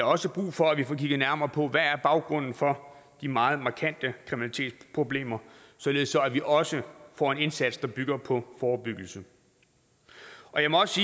også brug for at vi får kigget nærmere på hvad baggrunden er for de meget markante kriminalitetsproblemer således at vi også får en indsats der bygger på forebyggelse jeg må også